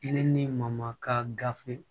Ne ni mamaka gafe